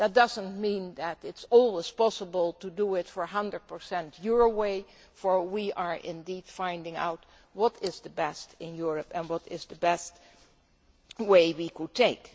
That does not mean that it is always possible to do it 100 your way, for we are indeed finding out what is the best in Europe and what is the best way we could take.